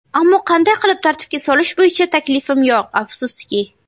Ammo qanday qilib tartibga solish bo‘yicha taklifim yo‘q, afsuski.